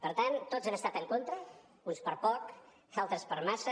per tant tots han estat en contra uns per poc altres per massa